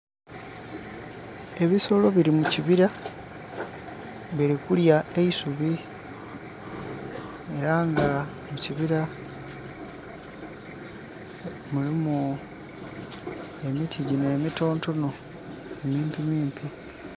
Ebisolo bili mu kibira, bili kulya eisubi. Era nga mu kibira mulimu emiti gyino emitonotono, emimpimimpi.